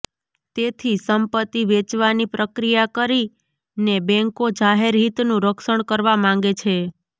તેથી સંપત્તિ વેચવાની પ્રક્રિયા કરીને બેન્કો જાહેર હિતનું રક્ષણ કરવા માંગે છે